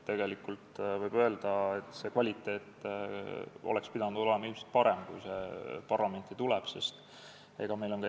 Võib öelda, et siis, kui eelnõu parlamenti tuli, oleks tema kvaliteet pidanud olema ilmselt parem.